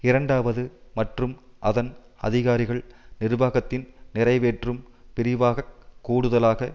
இரண்டாவது மற்றும் அதன் அதிகாரிகள் நிர்வாகத்தின் நிறைவேற்றும் பிரிவாக கூடுதலாக